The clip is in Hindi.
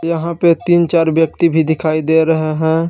यहां पे तीन चार व्यक्ति भी दिखाई दे रहे हैं।